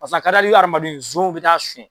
Paseke a ka di hali hadamadenw ye zonw bɛ taa suyɛn.